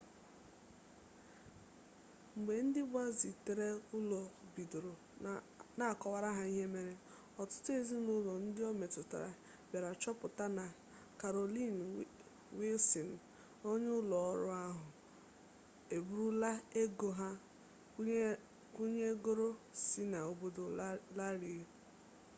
mgbe ndị gbazitere ụlọ bidoro na-akọwara ha ihe mere ọtụtụ ezinụlọ ndị o metụtara bịara chọpụta na karolin wịlsịn onye ụlọ ọrụ oha eburula ego ha kwụnyegoro si n'obodo larie